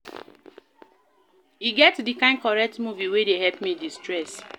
E get di kain correct movie wey dey help me de-stress